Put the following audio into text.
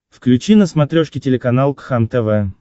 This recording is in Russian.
включи на смотрешке телеканал кхлм тв